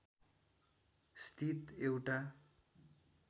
स्थित एउटा